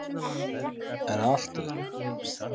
En að allt öðru.